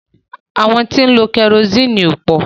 Àwọn tí ó ń lọ kẹrosiini ò pò.